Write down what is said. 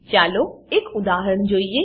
ચાલો એક ઉદાહરણ જોઈએ